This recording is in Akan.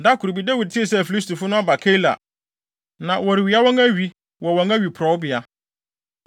Da koro bi, Dawid tee sɛ Filistifo no aba Keila, na wɔrewia wɔn awi wɔ wɔn awiporowbea.